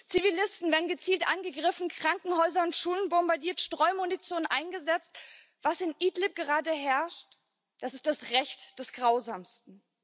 Zivilisten werden gezielt angegriffen, Krankenhäuser und Schulen bombardiert, Streumunition eingesetzt was in Idlib gerade herrscht, das ist das Recht des Grausamsten.